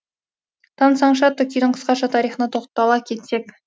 тансаңшы атты күйдің қысқаша тарихына тоқтала кетсек